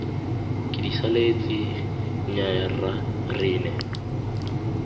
kedisaletse nnyaya rra re ne